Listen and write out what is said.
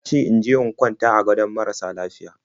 Ya ce in je in kwanta a gadon marasa lafiya.